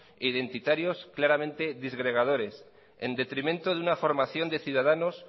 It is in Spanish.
e identitarios claramente disgregadores en detrimento de una formación de ciudadanos